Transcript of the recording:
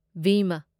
ꯚꯤꯃꯥ